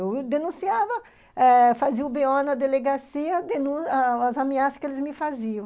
Eu denunciava, fazia o bê o na delegacia, as ameaças que eles me faziam.